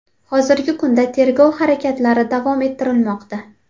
Hozirgi kunda tergov harakatlari davom ettirilmoqda.